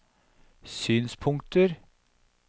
synspunkter